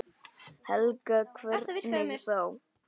Helga: Hvernig þá?